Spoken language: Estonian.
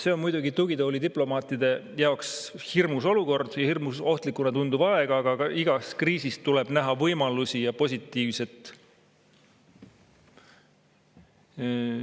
See on muidugi tugitoolidiplomaatide jaoks hirmus olukord ja hirmus ohtlikuna tunduv aeg, aga igas kriisis tuleb näha ka võimalusi ja positiivset.